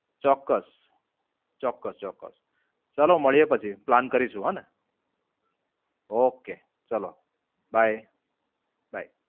ચોક્કસ, ચોક્કસ ચોક્કસ. ચાલો માળીયે પછી પ્લાન કરીશું હા ને? ઓકે, ચાલો, bye bye